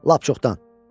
Lap çoxdan.